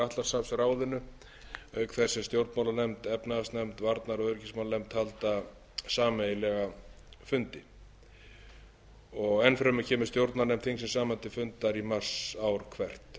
atlantshafsráðinu auk þess sem stjórnmálanefnd efnahagsnefnd og varnar og öryggismálanefnd halda sameiginlega fundi enn fremur kemur stjórnarnefnd þingsins saman til fundar í mars ár hvert